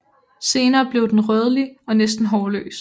Senere bliver den rødlig og næsten hårløs